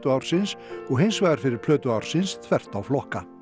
ársins og hins vegar fyrir plötu ársins þvert á flokka